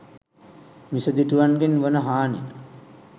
මිසදිටුවන්ගෙන් වන හානි